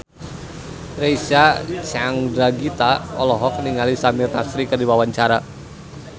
Reysa Chandragitta olohok ningali Samir Nasri keur diwawancara